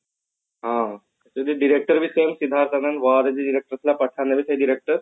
ହଁ ଯେମତି director ବି pathan ରେ ସେଇ director